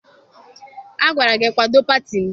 Agwara gị kwado pati m!